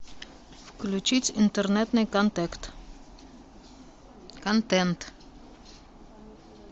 включить интернетный контект контент